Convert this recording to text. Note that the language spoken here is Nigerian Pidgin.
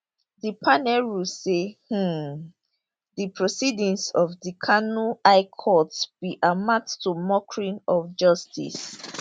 di panel rule say um di proceedings of di kano high court bin amount to mockery of justice